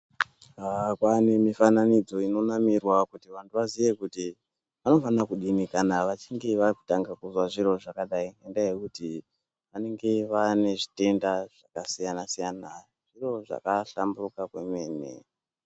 Haa kwaanemifananidzo inonamirwa kuti vantu vaziye kuti vanofanira kudini kana vachinge vatanga kuzwa zviro zvakadai, ngendaa yekuti vanenge vaane zvitenda zvakasiyana-siyana. Zviro zvakahlamburuka kwemene.